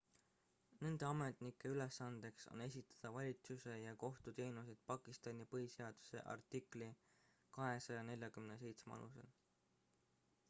nende ametnike ülesandeks on esitada valitsuse ja kohtuteenuseid pakistani põhiseaduse artikli 247 alusel